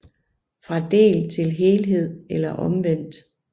Fra del til helhed eller omvendt